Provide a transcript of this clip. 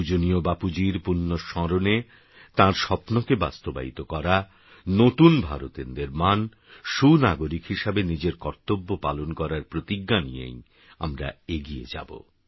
পূজনীয়বাপুজীরপুণ্যস্মরণেতাঁরস্বপ্নকেবাস্তবায়িতকরা নতুনভারতএরনির্মাণসুনাগরিকহিসাবেনিজেরকর্তব্যপালনকরারপ্রতিজ্ঞানিয়েইআমরাএগিয়েযাব